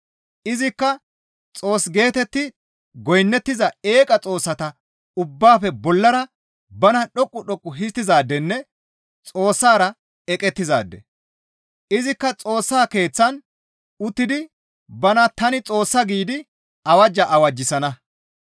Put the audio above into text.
Izikka Xoos geetetti goynnettiza eeqa xoossata ubbaafe bollara bana dhoqqu dhoqqu histtizaadenne Xoossara eqettizaade; izikka Xoossa Keeththan uttidi bana, «Tani Xoossa» giidi awajja awajjisana.